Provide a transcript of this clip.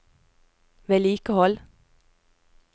vedlikehold